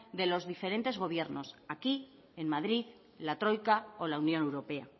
de los diferentes gobiernos aquí en madrid en la troika o la unión europea